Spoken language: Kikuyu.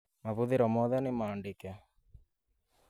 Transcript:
Mahũthiro moothe nĩmaandĩke